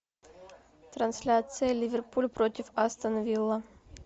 трансляция ливерпуль против астон вилла